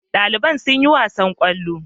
Dalibai sun yi wasan kwallo